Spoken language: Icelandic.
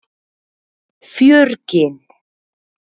Fjörgyn